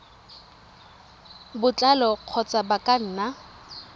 botlalo kgotsa ba ka nna